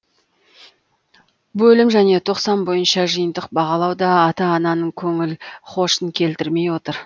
бөлім және тоқсан бойынша жиынтық бағалау да та ата ананың көңіл хошын келтірмей отыр